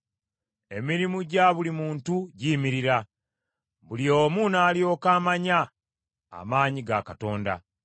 Emirimu gya buli muntu giyimirira, buli omu n’alyoka amanya amaanyi ga Katonda.